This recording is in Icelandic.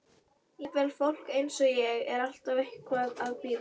Jafnvel fólk eins og ég er alltaf eitthvað að bíða.